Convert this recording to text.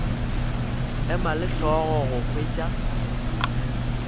ema le hlogo go hwetša